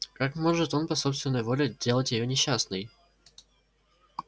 как может он по собственной воле делать её несчастной